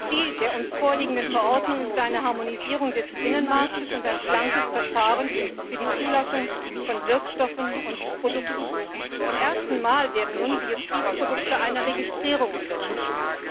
Ziel der uns vorliegenden Verordnung ist eine Harmonisierung des Binnenmarkts und ein schlankes Verfahren für die Zulassung von Wirkstoffen und Produkten. Zum ersten Mal werden nun Biozidprodukte einer Registrierung unterzogen.